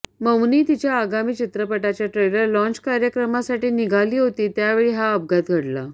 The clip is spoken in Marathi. मौनी तिच्या आगामी चित्रपटाच्या ट्रेलर लॉंच कार्यक्रमासाठी निघाली होती त्यावेळी हा अपघात घडला